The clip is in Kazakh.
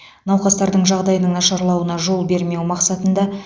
науқастардың жағдайының нашарлауына жол бермеу мақсатында